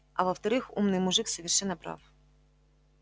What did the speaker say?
а во-вторых умный мужик совершенно прав